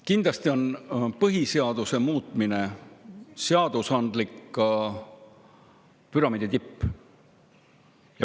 Kindlasti on põhiseaduse muutmine seadusandliku püramiidi tipp.